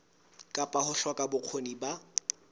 kapa ho hloka bokgoni ba